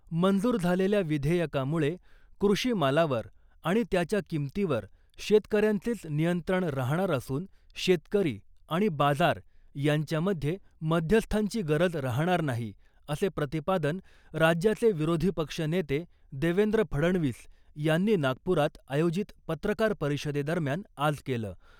मंजूर झालेल्या विधेयकामुळे कृषीमालावर आणि त्याच्या किमतीवर शेतकऱ्यांचेच नियंत्रण राहणार असून शेतकरी आणि बाजार यांच्यामध्ये मध्यस्थांची गरज राहणार नाही असे प्रतिपादन राज्याचे विरोधी पक्ष नेते देवेंद्र फडणवीस यांनी नागपुरात आयोजित पत्रकार परिषदे दरम्यान आज केलं .